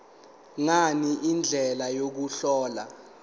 ngani indlela yokuhlola